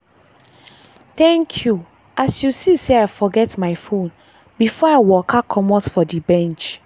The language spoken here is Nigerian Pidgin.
thank you as you see sey i forget my fone before i waka comot for the bench.